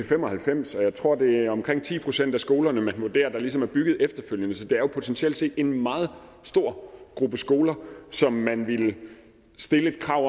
fem og halvfems jeg tror at det er omkring ti procent af skolerne man vurderer ligesom er bygget efterfølgende så det er jo potentielt set en meget stor gruppe skoler som man ville stille et krav